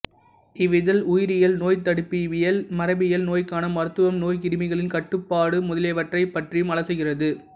இவ்விதழ் உயிரியல் நோய்த்தடுப்பியல் மரபியல் நோய்க்கான மருத்துவம் நோய்க்கிருமிகளின் கட்டுப்பாடு முதலியவற்றைப் பற்றியும் அலசுகிறது